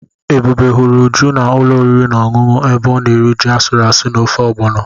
Ebube hụrụ Uju na ulo oriri na ọṅụṅụ ebe ọ na-eri ji asụrụ asụ na ofe Ọgbọnọ.